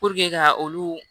ka olu